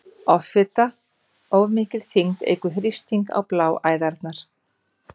Offita- Of mikil þyngd eykur þrýsting á bláæðarnar.